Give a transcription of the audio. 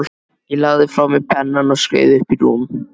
Ég lagði frá mér pennann og skreið upp í rúm.